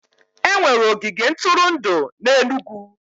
Enwere ogige ntụrụndụ n'Enugwu